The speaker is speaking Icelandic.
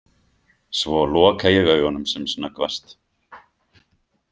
Svo loka ég augunum sem snöggvast.